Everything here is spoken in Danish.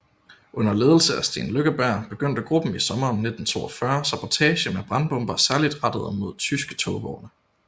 Under ledelse af Steen Lykkeberg begyndte gruppen i sommeren 1942 sabotage med brandbomber særligt rettet mod tyske togvogne